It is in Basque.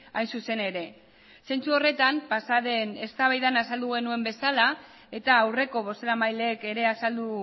hain zuzen ere zentzu horretan pasa den eztabaidan azaldu genuen bezala eta aurreko bozeramaileek ere azaldu